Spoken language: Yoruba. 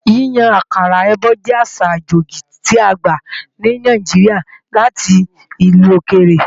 Yíyan àkàrà èbó jẹ́ àṣà àjèjì tí a gbà ní Nàìjíríà láti ìlú òkèrè